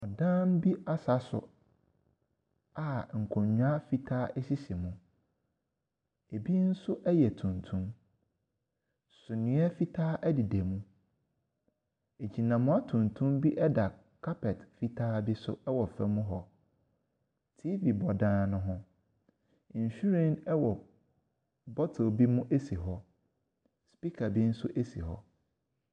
Ɔdan bi asaso a nkonnwa fitaa asisi mu, ɛbi nso ɛyɛ tuntum, suneɛ nso ɛdeda mu. Agyinamboa tuntum bi ɛda carpet fitaa bi so ɛwɔ fam hɔ. TV bɔ dan no ho, nhyiren ɛwɔ bottle bi mu asi hɔ. Speaker bi nso asi hɔ.